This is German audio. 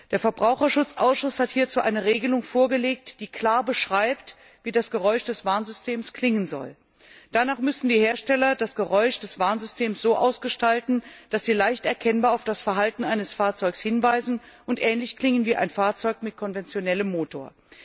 Der Verbraucherschutzausschuss hat hierzu eine Regelung vorgelegt, die klar beschreibt, wie das Geräusch des Warnsystems klingen soll. Danach müssen die Hersteller das Geräusch des Warnsystems so ausgestalten, dass sie leicht erkennbar auf das Verhalten eines Fahrzeugs hinweisen und ähnlich klingen wie ein Fahrzeug mit konventionellem Motor.